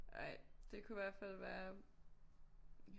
Ej det kunne i hvert fald være